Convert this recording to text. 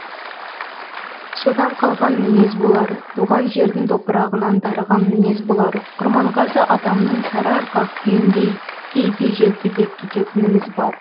содан қалған мінез болар туған жердің топырағынан дарыған мінез болар құрманғазы атамның сарыарқа күйіндей кейде желпілдеп кететініміз бар